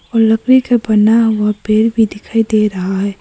और लकड़ी का बना हुआ पेड़ भी दिखाई दे रहा है।